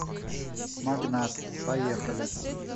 магнат поехали